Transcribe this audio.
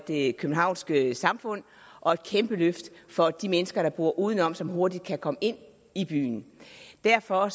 det københavnske samfund og et kæmpe løft for de mennesker der bor uden om og som hurtigt kan komme ind i byen derfor